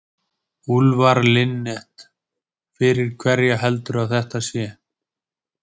Úlfar Linnet: Fyrir hverja heldurðu að þetta sé?